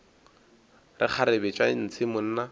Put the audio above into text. re kgarebe tša ntshe monna